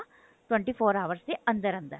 twenty four hours ਦੇ ਅੰਦਰ ਅੰਦਰ